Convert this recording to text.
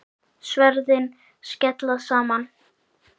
Sverðin skella saman.